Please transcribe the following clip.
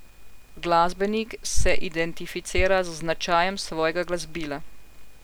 Glasbenik se identificira z značajem svojega glasbila.